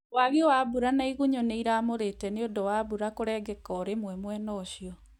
Wagi wa mbura na igunyũ nĩiramurĩte nĩundũ wa mbura kũrengeka o rĩmwe mwena ũcio